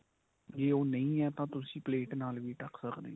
ਜੇ ਉਹ ਨਹੀਂ ਆ ਤਾਂ ਤੁਸੀਂ ਪਲੇਟ ਨਾਲ ਵੀ ਢੱਕ ਸਕਦੇ ਓ.